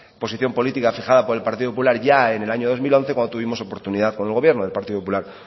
posición política fijada por el partido popular ya en el año año dos mil once cuando tuvimos oportunidad cuando el gobierno del partido popular